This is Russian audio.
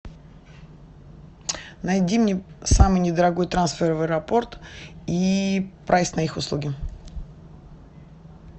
найди мне самый не дорогой трансфер в аэропорт и прайс на их услуги